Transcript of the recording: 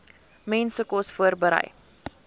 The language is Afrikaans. mense kos voorberei